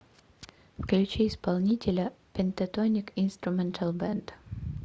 включи исполнителя пентатоник инструментал бэнд